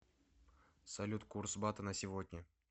салют курс бата на сегодня